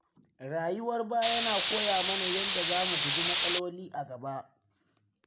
Rayuwar baya na koya mana yadda za mu guji matsaloli a gaba.